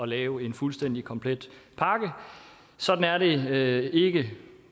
lave en fuldstændig komplet pakke sådan er det ikke